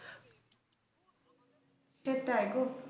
সেটাই গো।